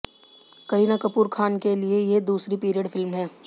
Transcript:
करीना कपूर खान के लिए ये दूसरी पीरियड फिल्म है